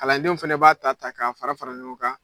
Kalandenw fɛnɛ b'a ta ta k'a fara fara ɲɔgɔn kan.